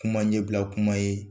Kuma ɲɛbila kuma ye